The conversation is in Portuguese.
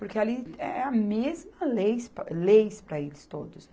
Porque ali é a mesma leis pa, leis para eles todos.